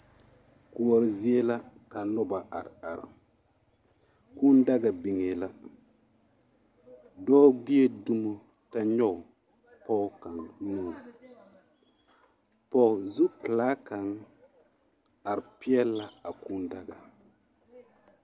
Koɔri zie la ka noba are are kūū daga biŋa la dɔɔ gbe la dumo kyɛ nyoŋ pɔge kaŋa nu pɔge zu pelaa kaŋa are pegle la a kūū daga.